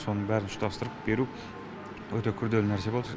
соның бәрін ұштастырып беру өте күрделі нәрсе болды